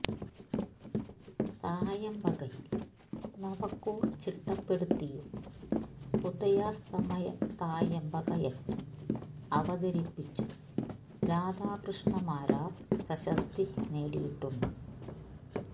തായമ്പകയിൽ നവക്കൂർ ചിട്ടപ്പെടുത്തിയും ഉദയാസ്തമയ തായമ്പക യജ്ഞം അവതരിപ്പിച്ചും രാധാകൃഷ്ണ മാരാർ പ്രശസ്തി നേടിയിട്ടുണ്ട്